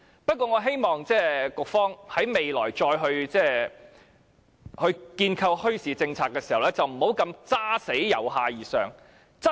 不過，我希望局方在未來再構思墟市政策時，不要堅持"由下而上"。